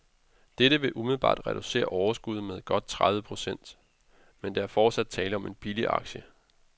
Dette vil umiddelbart reducere overskuddet med godt tredive procent, men der er fortsat tale om en billig aktie.